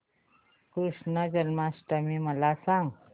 कृष्ण जन्माष्टमी मला सांग